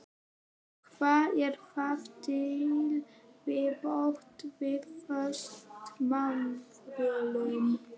Hvað er þar til viðbótar við föst mánaðarlaun?